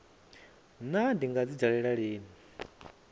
naa ndi nga dzi dalela lini